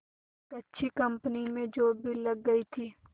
एक अच्छी कंपनी में जॉब भी लग गई थी